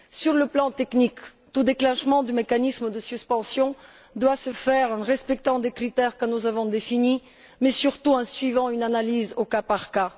Sur le plan technique, tout déclenchement du mécanisme de suspension doit se faire dans le respect des critères que nous avons définis, mais surtout par une analyse au cas par cas.